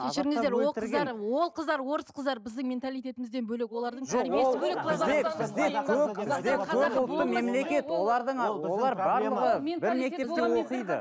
ол қыздар орыс қыздар біздің менталитетімізден бөлек